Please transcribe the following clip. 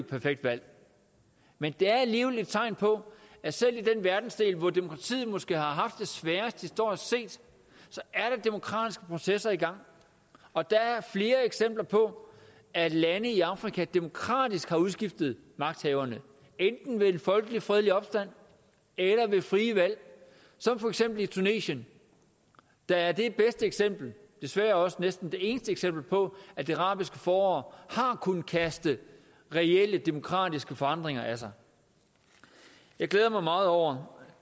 perfekt valg men det er alligevel et tegn på at selv i den verdensdel hvor demokratiet måske har haft det sværest historisk set så er demokratiske processer i gang og der er flere eksempler på at lande i afrika demokratisk har udskiftet magthaverne enten ved en folkelig fredelig opstand eller ved frie valg som for eksempel i tunesien der er det bedste eksempel desværre også næsten det eneste eksempel på at det arabiske forår har kunnet kaste reelle demokratiske forandringer af sig jeg glæder mig meget over